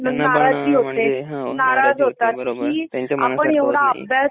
त्यांच्या मनासरख होत नाही